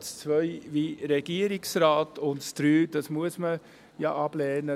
Ziffer 2 wie der Regierungsrat, und Ziffer 3 muss man ja ablehnen.